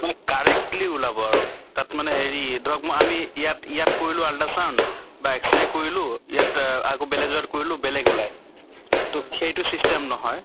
correctly ওলাব আৰু তাত মানে হেৰি ধৰক ম আমি ইয়াত ইয়াত কৰিলো ultra sound বা X ray কৰিলো ইয়াত অহ আকৌ বেলেগ জগাত কৰিলো বেলেগ ওলায়। তʼ সেইটো system নহয়